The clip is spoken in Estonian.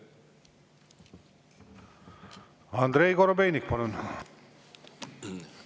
Andrei Korobeinik, palun!